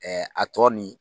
a tɔ ni